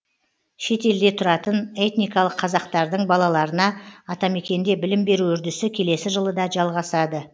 шет елде тұратын этникалық қазақтардың балаларына атамекенде білім беру үрдісі келесі жылы да жалғасады